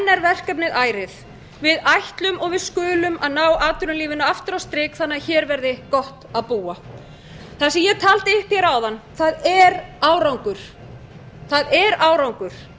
verkefnið ærið við ætlum og við skulum að ná atvinnulífinu aftur á strik þannig að hér verði gott að búa það sem ég taldi upp áðan er árangur